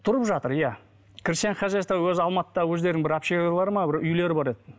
тұрып жатыр иә крестьянское хозяйство өз алматыда өздерінің бір общяга бар ма бір үйлері бар еді